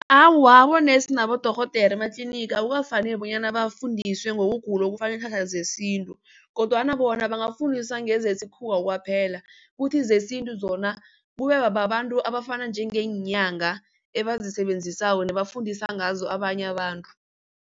Awa, abonesi nabodorhodere ematlinigi akukafaneli bonyana bafundiswe ngokugula okufaka iinhlahla zesintu kodwana bona bangafundiswa ngezesikhuwa kwaphela. Kuthi zesintu zona kube bababantu abafana njengeenyanga ebazisebenzisako nafundisa ngazo abanye abantu.